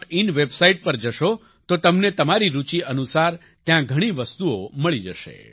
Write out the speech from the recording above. in website પર જશો તો તમને તમારી રૂચી અનુસાર ત્યાં ઘણી વસ્તુઓ મળી જશે